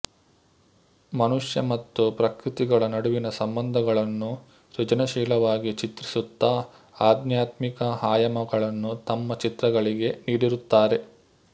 ಮನುಷ್ಯ ಮತ್ತು ಪ್ರಕೃತಿಗಳ ನಡುವಿನ ಸಂಬಂಧಗಳನ್ನು ಸೃಜನಶೀಲವಾಗಿ ಚಿತ್ರಿಸುತ್ತಾ ಅಧ್ಯಾತ್ಮಿಕ ಆಯಾಮಗಳನ್ನು ತಮ್ಮ ಚಿತ್ರಗಳಿಗೆ ನೀಡಿರುತ್ತಾರೆ